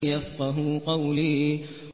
يَفْقَهُوا قَوْلِي